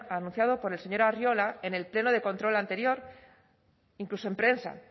anunciado por el señor arriola en el pleno de control anterior incluso en prensa